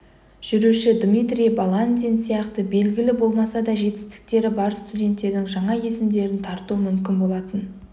жүруші дмитрий баландин сияқты белгілі болмаса да жетістіктері бар студенттердің жаңа есімдерін тарту мүмкін болатынын